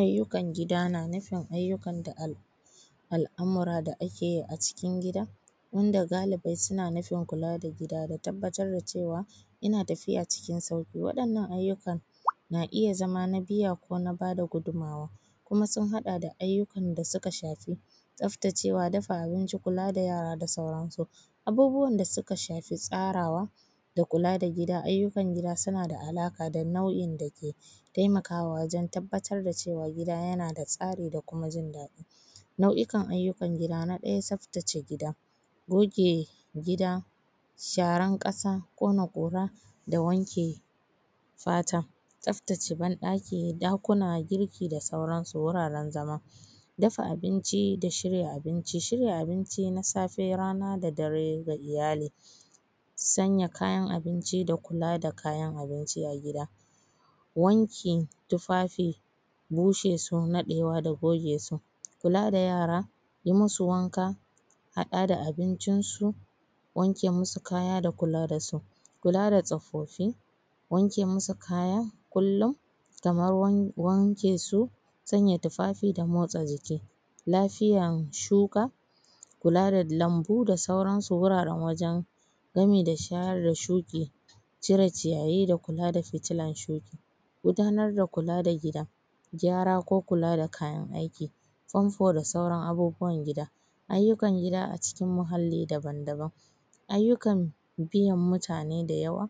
Ayyukan gida na nufin ayyukan da al’amura da ake yi a cikin gida inda galibi suna nufin kula da gida da tabbatar da cewa yana tafiya cikin sauƙi. Waɗannan ayyukan na iya zama na biya ko na ba da gudunmuwa, kuma sun haɗa da ayyukan da suka shafi tsaftacewa, dafa abinci, kula da yara da sauransu. Abubuwan da suka shafi tsarawa da kula da gida, ayyukan gida suna da alaƙa da nau’in da ke taimakawa wajen tabbatar da cewa gida yana da tsari da kuma jin daɗi. Nau’ikan ayyukan gida: na ɗaya tsaftace gida, goge gida, sharan ƙasa, ƙona ƙura da wanke fata, tsaftace ban ɗaki, ɗakuna, girki da sauransu, wuraren zama. Dafa abinci da shirya abinci: shirya abinci na safe, rana da dare ga iyali. Sanya kayan abinci da kula da kayan abinci a gida. Wankin tufafi, bushe su, naɗewa da goge su. Kula da yara, yi musu wanka, haɗa da abincinsu, wanke musu kaya da kula da su. Kula da tsofaffi, wanke musu kaya kullum, kamar wanke su. Sanya tufafi da motsa jiki. Lafiyan shuka, kula da lambu da sauransu, wuraren wajen gami da share shuƙi, cire ciyayi da kula da fitilan shuƙi gudanar da kula da gida, gyara ko kula da kayan aiki, famfo da sauran abubuwan gida. Ayyukan gida a cikin muhalli daban daban, ayyukan biyan mutane da yawa,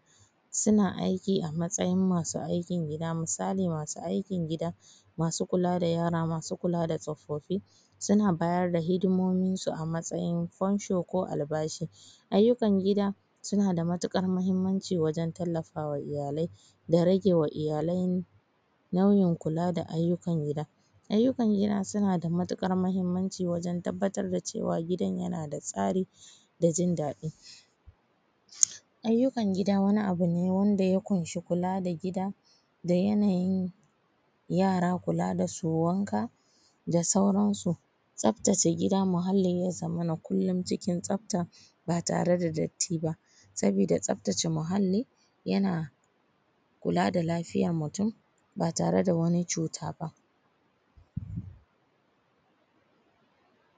suna aiki a matsayin masu aikin gida, misali, masu aikin gida, masu kula da yara, masu kula da tsofaffi suna bayar da hidimominsu a matsayin fansho lo albashi. Ayyukan gida suna da matuƙar muhimmanci wajen tallafa wa iyalai da rage wa iyalai nauyin kula da aikin gida. Ayyukan gida suna da matuƙar muhimmanci wajen tabbatar da cewa gidan yana da tsari da jin daɗi. Ayyukan gida wani abu ne wanda ya ƙunshi kula da gida da yanayin yara, kula da su, wanka da sauransu. Tsaftace gida muhalli ya zamana kullum cikin tsafta, ba tare da datti ba, sabida tsaftace muhalli, yana kula da lafiyar mutum, ba tare da wani cuta ba.